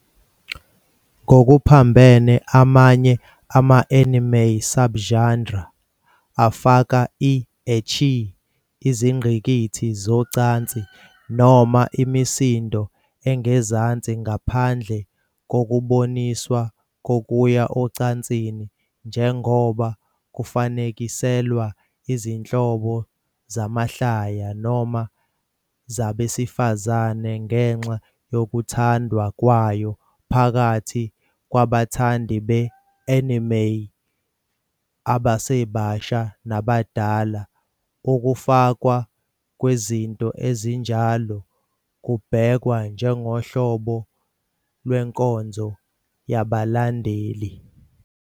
Ngokuphambene, amanye ama-anime subgenres afaka i- "ecchi", izingqikithi zocansi noma imisindo engezansi ngaphandle kokuboniswa kokuya ocansini, njengoba kufanekiselwa izinhlobo zamahlaya noma zabesifazane, ngenxa yokuthandwa kwayo phakathi kwabathandi be-anime abasebasha nabadala, ukufakwa kwezinto ezinjalo kubhekwa njengohlobo lwenkonzo yabalandeli.